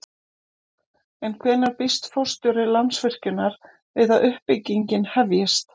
En hvenær býst forstjóri Landsvirkjunar við að uppbyggingin hefjist?